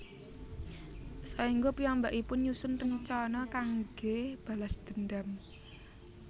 Saéngga piyambakipun nyusun rencana kanggé balas dendam